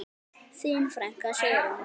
Þín frænka, Sigrún.